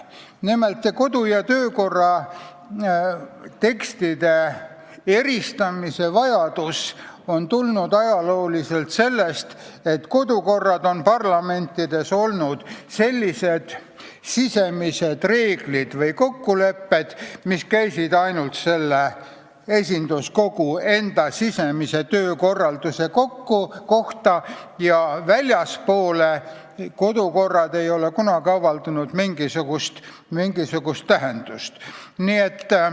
Nimelt, kodu- ja töökorra tekstide eristamise vajadus on tulnud ajalooliselt sellest, et kodukorrad on parlamentides olnud sisemised reeglid või kokkulepped, mis käivad ainult esinduskogu enda sisemise töökorralduse kohta, ja parlamendist väljaspool ei ole kodukorral kunagi olnud mingisugust tähendust.